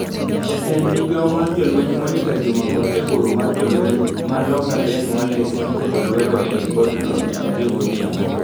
Jatend migao mar jolweny Monica Juma kod jagoro mar jolweny ma loka Ben Wallace noketo lwedo e lipodno tichario godhiambo.